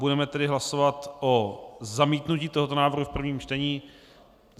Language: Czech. Budeme tedy hlasovat o zamítnutí tohoto návrhu v prvním čtení.